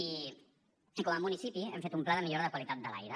i com a municipi hem fet un pla de millora de la qualitat de l’aire